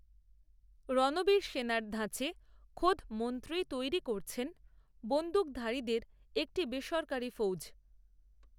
রণবীর সেনার ধাঁচে খোদ মন্ত্রীই তৈরি করছেন, বন্দুকধারীদের একটি বেসরকারি ফৌজ